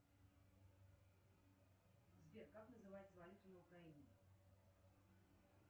сбер как называется валюта на украине